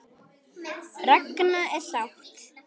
Ragna er sátt.